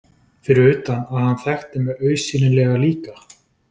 Fyrir utan að hann þekkti mig augsýnilega líka.